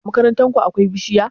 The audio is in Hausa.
A makarantar ku akwai bishiya?